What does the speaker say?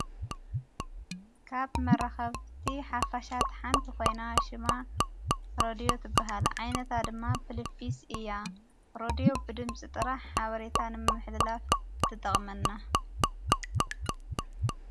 ካብ መረኸፍቲ ሓፍሻት ሓንቲ ኾይና ሽማ ሮድዮ ትበሃል ዓይነታ ድማ ፑልፊስ እያ ሮድዮ ብድምፂ ጥራሕ ሓብሬታ ንምሕልላፍ ትጠቕመና።